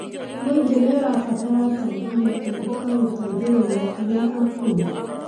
mũingĩ nĩ ũrabatara atongoria erũ a gũteithĩrĩria arĩa akũrũ.